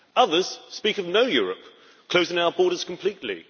Others speak of no Europe closing our borders completely